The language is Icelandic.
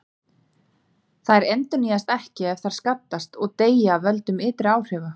Þær endurnýjast ekki ef þær skaddast, og deyja af völdum ytri áhrifa.